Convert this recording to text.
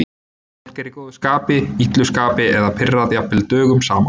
Fólk er í góðu skapi, illu skapi eða pirrað jafnvel dögum saman.